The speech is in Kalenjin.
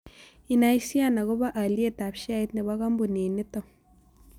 Inaisiiaan agoboo alyetap sheait ne po kampunin nito